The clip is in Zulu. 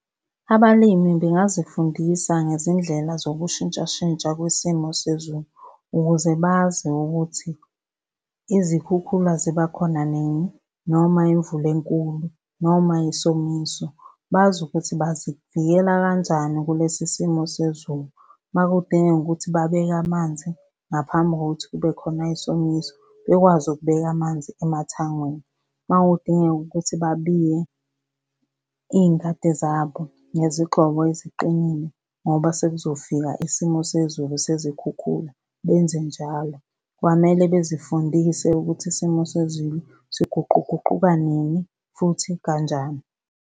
Abalimi bengazifundisa ngezindlela zokushintshashintsha kwisimo sezulu ukuze bazi ukuthi izikhukhula ziba khona nini, noma imvula enkulu, noma isomiso. Bazi ukuthi bazivikela kanjani kulesi simo sezulu. Uma kudingeka ukuthi babeke amanzi ngaphambi kokuthi kube khona isomiso, bekwazi ukubeka amanzi emathangini. Uma kudingeka ukuthi babiye iy'ngadi zabo ngezigxobo eziqinile, ngoba sekuzofika isimo sezulu sezikhukhula, benze njalo. Kwamele bezifundise ukuthi isimo sezulu siguquguquka nini futhi kanjani.